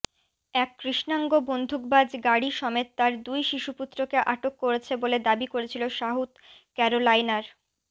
এক কৃষ্ণাঙ্গ বন্দুকবাজ গাড়ি সমেত তার দুই শিশুপুত্রকে আটক করেছে বলে দাবি করেছিল সাউথ ক্যারোলাইনার